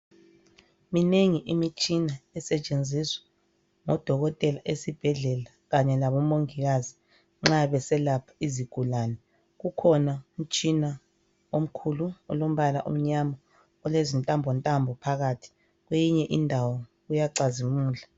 Minengi imitshina esetshenziswa ngodokotela esibhedlela Kanye labo mongikazi nxa beselapha izigulane. Kukhona umtshina omkhulu olombala omnyama. Olezintambo ntambo phakathi kwenye indawo uyacazimula.